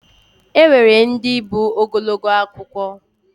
Enwere ndi bụ Ogologo akụkọ.